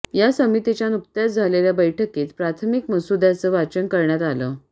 या समितीच्या नुकत्याच झालेल्या बैठकीत प्राथमिक मसुद्याचं वाचन करण्यात आलं